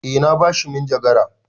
Eh na ba shi manjagara.